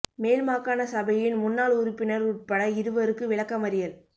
மேல் மாகாண சபையின் முன்னாள் உறுப்பினர் உட்பட இருவருக்கு விளக்கமறியல்